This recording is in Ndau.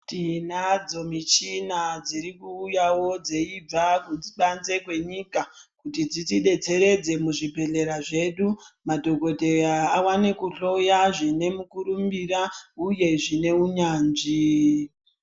Tinadzo michina dziri kuuyawo dzeibva nekubanze kwenyika dzitidetsere muzvibhedhlera zvedu madhokodheya awane kuhloya zvine mukurumbira uye zvine unyanzvi.